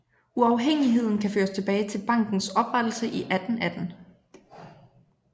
Uafhængigheden kan føres tilbage til bankens oprettelse i 1818